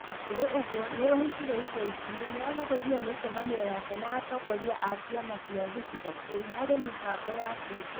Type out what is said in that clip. O na kũrĩ ũguo, nĩ oigire ica ikuhi, nĩ agarũrĩre mĩcemanio yake na atongoria a ciama cia gĩcigo kĩu harĩ mĩbango ya Kingi.